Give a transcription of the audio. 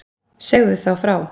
Segðu þá frá.